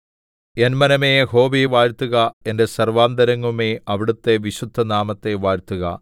N മനമേ യഹോവയെ വാഴ്ത്തുക എന്റെ സർവ്വാന്തരംഗവുമേ അവിടുത്തെ വിശുദ്ധനാമത്തെ വാഴ്ത്തുക